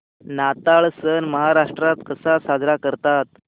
नाताळ सण महाराष्ट्रात कसा साजरा करतात